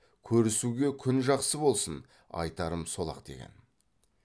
көрісуге күн жақсы болсын айтарым сол ақ деген